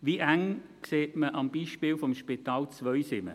Wie eng, sieht man am Beispiel des Spitals Zweisimmen: